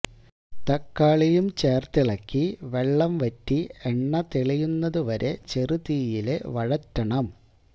തക്കാളിയും ചേര്ത്തിളക്കി വെള്ളം വറ്റി എണ്ണ തെളിയുന്നതു വരെ ചെറുതീയില് വഴറ്റണം